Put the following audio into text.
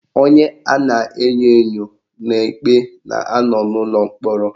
Onye a na-enyo enyo n'ikpe na anọ n'ulọ mkpọrọ